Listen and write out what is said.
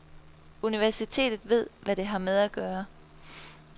Universitetet ved, hvad det har med at gøre.